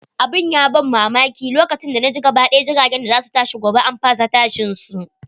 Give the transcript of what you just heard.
Abun ya ban mamaki, lokacin da naji gaba ɗaya jiragen da za su tashi gobe an fasa tashin su.